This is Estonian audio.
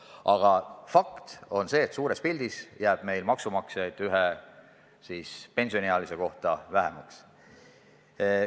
Aga fakt on see, et suures pildis jääb meil maksumaksjaid ühe pensioniealise kohta vähemaks.